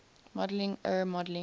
modeling er modeling